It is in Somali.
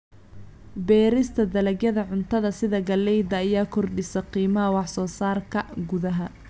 Beerista dalagyada cuntada sida galleyda ayaa kordhisa qiimaha wax soo saarka gudaha.